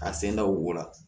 A sen da u bo la